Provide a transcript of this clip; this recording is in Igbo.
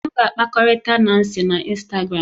M ga-akpakọrịta Nancy na Instagram